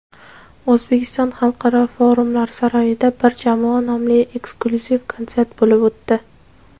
"O‘zbekiston" xalqaro forumlar saroyida "Bir jamoa" nomli inklyuziv konsert bo‘lib o‘tdi.